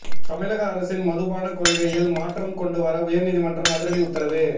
தமிழக அரசின் மதுபான கொள்கையில் மாற்றம் கொண்டுவர உயர் நீதிமன்றம் அதிரடி உத்தரவு